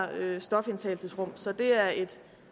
her stofindtagelsesrum så det er et